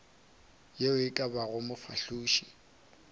ye e ka bago mofahloši